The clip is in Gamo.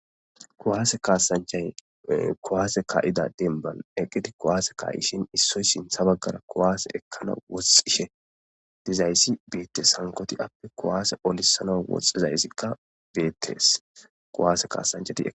Kuwaase kasanchay kowaase ka'ida denban eqqiti kowaase ka'ishin issoy sintha baggara kowaase ekkana woxxishe dizayssi biitte sankoti appe kowaase olisana woxxizayssikka beettees kowaase kaasancheti.